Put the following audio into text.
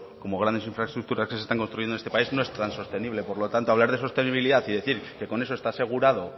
como grandes infraestructuras que se están construyendo en este país no es tan sostenible por lo tanto hablar de sostenibilidad y decir que con eso está asegurado